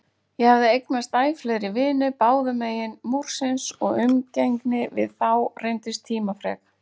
Ég hafði eignast æ fleiri vini báðumegin Múrsins og umgengni við þá reyndist tímafrek.